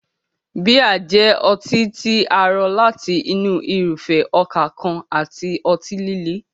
Bíà jẹ́ ọtí tí a rọ láti inú irúfẹ́ ọkà kan àti ọtí líle.